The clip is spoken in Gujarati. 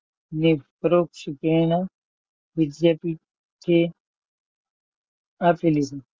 ને પરોક્ષ પ્રેરણા વિદ્યાર્થી કે આપી દીધું લીધું,